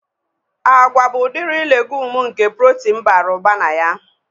Agwa bụ udiri legumu nke protin bara ụba na ya